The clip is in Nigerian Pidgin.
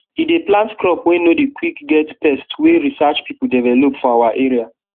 e dey plant crop wey no dey quick get pest wey research people develop for our area